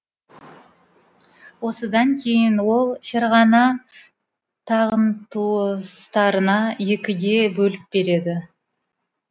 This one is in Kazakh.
осыдан кейін ол ферғана тағын туыстарына екіге бөліп береді